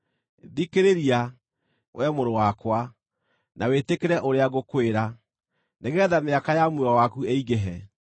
Thikĩrĩria, wee mũrũ wakwa, na wĩtĩkĩre ũrĩa ngũkwĩra, nĩgeetha mĩaka ya muoyo waku ĩingĩhe.